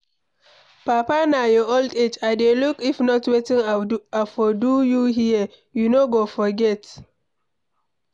Papa na your old age I dey look if not wetin I for do you here, you no go forget.